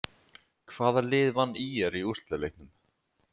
Hvaða lið vann ÍR í úrslitaleiknum?